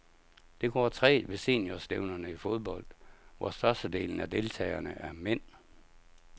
Det går trægt ved seniorstævnerne i fodbold, hvor størstedelen af deltagerne er mænd.